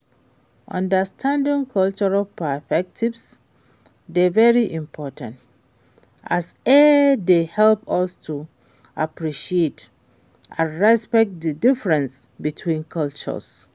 understanding cultural perspectives dey very important, as e dey help us to appreciate and respect di differences between cultures.